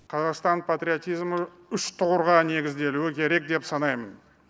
қазақстан патриотизмі үш тұғырға негізделуі керек деп санаймын